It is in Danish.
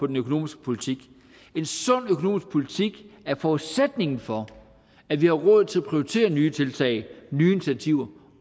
den økonomiske politik en sund økonomisk politik er forudsætningen for at vi har råd til at prioritere nye tiltag nye initiativer